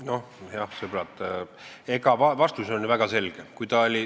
Nojah, sõbrad, vastus on ju väga selge.